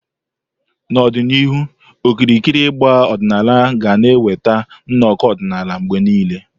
N'ọdịnihu, okirikiri ịgbà ọdịnala ga na-eweta nnọkọ ọdịnala mgbe niile.